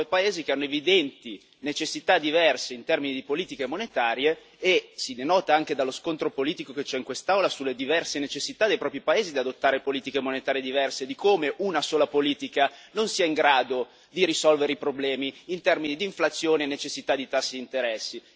19 paesi che hanno evidenti necessità diverse in termini di politiche monetarie e, si denota anche dallo scontro politico che c'è in quest'Aula, sulle diverse necessità dei propri paesi di adottare politiche monetarie diverse, di come una sola politica non sia in grado di risolvere i problemi in termini di inflazione e necessità di tassi di interessi.